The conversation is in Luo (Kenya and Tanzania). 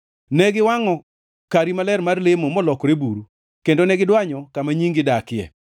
Ne giwangʼo kari maler mar lemo molokore buru, kendo ne gidwanyo kama nyingi dakie.